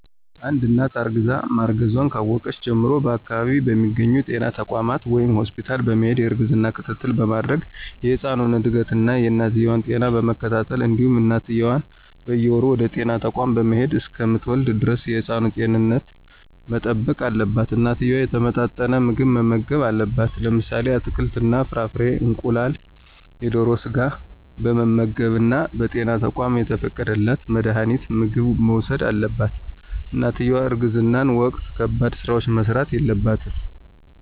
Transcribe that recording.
አንድት እናት እርግዛ ማርገዟን ካወቀች ጀምሮ በአከባቢው በሚገኙ ጤና ተቋማት ወይም ሆስፒታል በመሄድ የእርግዝና ክትትል በማድረግ የህፃኑን እድገት እና የእናትየዋ ጤና በመከታተል እንዲሁም እናትየዋም በየወሩ ወደጤና ተቋም በመሄድ እሰከምትወልድ ደረስ የህፃኑን ጤንነት መጠበቅ አለባት። እናትየዋ የተመጣጠነ ምግብ መመገብ አለባት። ለምሳሌ አትክልት እና ፍራፍሬ፣ እንቁላል፣ የደሮ ስጋ በመመገብ እና በጤና ተቋማት የተፈቀደላት መድሀኒትና ምግብ መውሰድ አለባት። እናትየዋ በእርግዝና ወቅት ከባድ ስራዎች መስራት የለባትም።